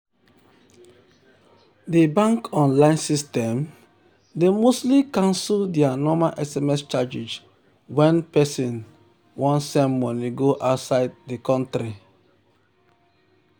the bank online system dey mostly cancel their normal sms charge when person person wan send money go outside country.